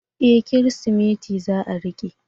E! Kirsimeti za a riƙe.